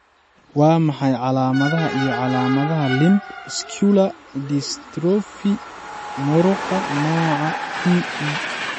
Waa maxay calaamadaha iyo calaamadaha Limb scular dystrophy muruqa nooca 2E?